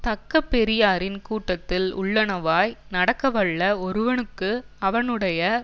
தக்க பெரியாரின் கூட்டத்தில் உள்ளனவாய் நடக்கவல்ல ஒருவனுக்கு அவனுடைய